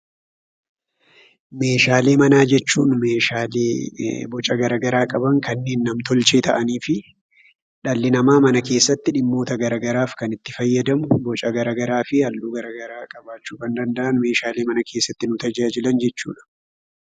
Meeshaalee manaa jechuun meeshaalee boca garagaraa qaban kanneen nam-tolchee ta'aniifi dhalli namaa mana keessatti dhimmoota gara garaaf kan itti fayyadaamu, boca garagaraafi haalluu garagaraa qabaachuu kan danda'an meeshaalee mana keessatti nu tajaajilan jechuudha.